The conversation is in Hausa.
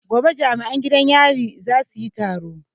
Gobe jami'an gidan yarin za su yi taro